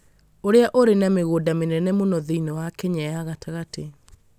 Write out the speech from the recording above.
ũrĩa ũrĩ na mĩgũnda mĩnene mũno thĩinĩ wa Kenya ya gatagatĩ